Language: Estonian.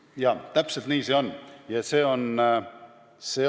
Jaa, täpselt nii see on.